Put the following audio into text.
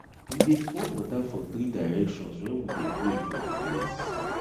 we dey pour water for three directions when we dey pray for di place